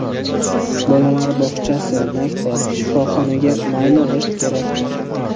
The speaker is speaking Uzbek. Bolalar bog‘chasi, maktab, shifoxonaga, mayli, g‘isht kerakdir.